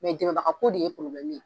Mɛ dɛmɛbagako de ye probilɛmu ye.